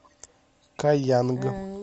каянг